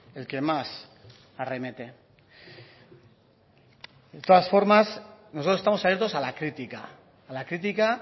el que más arremete de todas formas nosotros estamos abiertos a la crítica a la crítica